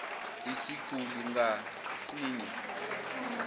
isiguli ngas inye